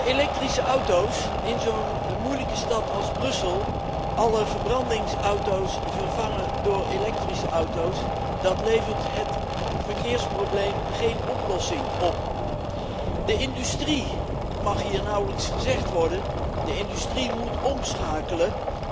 Elektrische auto's in zo'n moeilijke stad als Brussel, alle verbrandingsauto's vervangen door elektrische auto's, dat levert het voor verkeersprobleem geen oplossing op. Het mag hier nauwelijks gezegd worden, maar de industrie moet omschakelen.